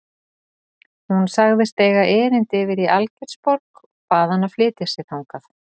Hún sagðist eiga erindi yfir í Algeirsborg og bað hann að flytja sig þangað.